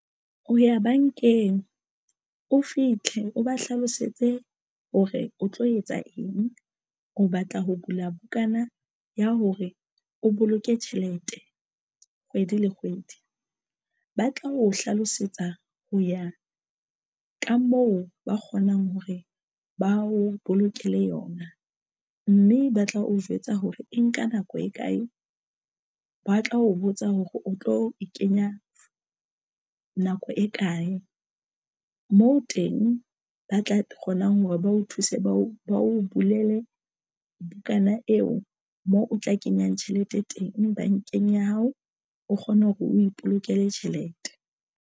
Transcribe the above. O ya bankeng o fihle o ba hlalosetse hore o tlo etsa eng o batla ho bula bukana ya hore o boloke tjhelete kgwedi le kgwedi. Ba tla o hlalosetsa ho ya ka moo ba kgonang hore ba o bolokela yona mme ba tla o jwetsa hore e nka nako e kae ba tla o botsa hore o tlo e kenya nako e kae moo teng ba tla kgonang hore ba o thuse, ba o ba o bulele bukana eo moo o tla kenyang tjhelete teng bankeng ya hao o kgona hore o ipolokele tjhelete.